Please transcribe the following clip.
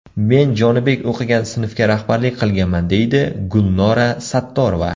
Men Jonibek o‘qigan sinfga rahbarlik qilganman, deydi Gulnora Sattorova.